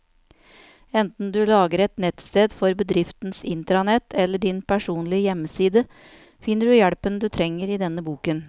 Enten du lager et nettsted for bedriftens intranett eller din personlige hjemmeside, finner du hjelpen du trenger i denne boken.